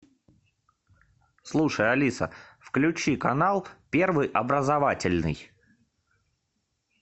слушай алиса включи канал первый образовательный